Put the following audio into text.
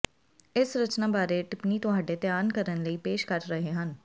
ਇਸ ਰਚਨਾ ਬਾਰੇ ਟਿੱਪਣੀ ਤੁਹਾਡੇ ਧਿਆਨ ਕਰਨ ਲਈ ਪੇਸ਼ ਕਰ ਰਹੇ ਹਨ